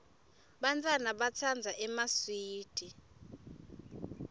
bantfwana batsandza emaswidi